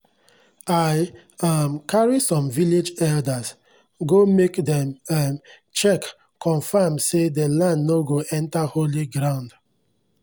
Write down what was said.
i um carry some village elders go make dem um check confirm say dey land nor go enter holy ground